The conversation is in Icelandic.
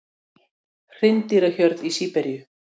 Hreindýrahjörð í Síberíu.